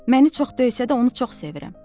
Məni çox döysə də onu çox sevirəm.